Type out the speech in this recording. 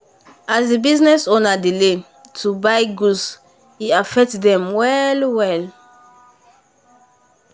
as the business owner delay um to um buy um goods e affect them well well